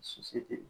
Si se tɛ yen